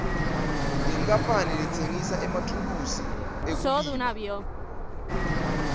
inkapani letsengisa emathulusi ekulima